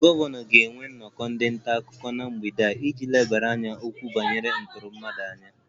Gọvanọ ga-enwe nnọkọ ndị nta akụkọ na mgbede a iji lebara okwu banyere ịtọrọ mmadụ anya